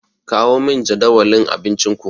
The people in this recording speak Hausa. Kawo min jadawalin abincinku.